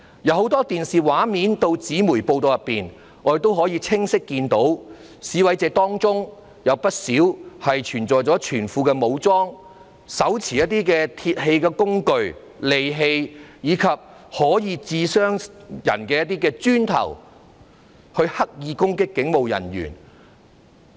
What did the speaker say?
從很多電視畫面及紙媒報道，我們可以清晰看到，在示威者當中有不少人全副武裝，手持一些鐵器工具、利器，以及可以傷人的磚頭，用來刻意攻擊警務人員。